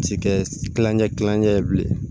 Ci kɛlancɛ kilancɛ ye bilen